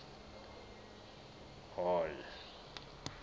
hall